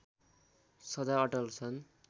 सधा अटल छन्